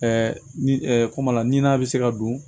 kuma la n'a bɛ se ka don